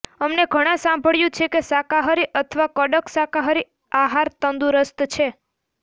અમને ઘણા સાંભળ્યું છે કે શાકાહારી અથવા કડક શાકાહારી આહાર તંદુરસ્ત છે